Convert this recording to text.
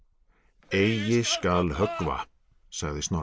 eigi skal höggva sagði Snorri